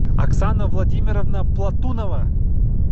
оксана владимировна платунова